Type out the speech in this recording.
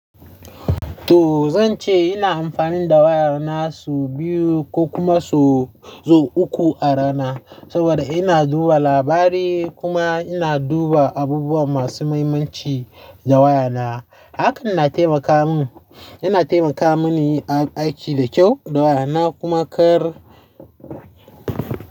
To zan ce ina amfani da wayar na sau biyu ko kuma sau, sau uku a rana. Saboda ina duba labari kuma ina duba abubuwa masu mahimmanci da waya na. Hakan na taimaka mun, yana taimaka mani a aiki da kyau da waya na kuma kar.